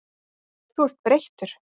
Þú ert breyttur.